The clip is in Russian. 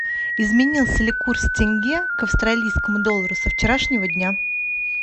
изменился ли курс тенге к австралийскому доллару со вчерашнего дня